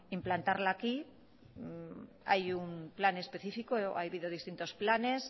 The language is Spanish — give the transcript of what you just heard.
implantarla aquí hay un plan específico ha habido distintos planes